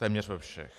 Téměř ve všech.